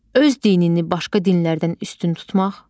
Öz dinini başqa dinlərdən üstün tutmaq.